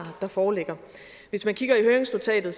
der foreligger hvis man kigger i høringsnotatet